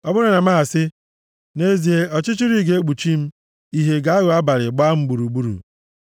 Ọ bụrụ na m asị, “Nʼezie, ọchịchịrị ga-ekpuchi m ìhè ga-aghọ abalị gbaa m gburugburu.”